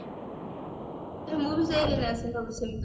ମୁଁ ବି ସେଇ